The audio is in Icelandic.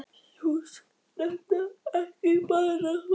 Veistu, hús er nefnilega ekki bara hús.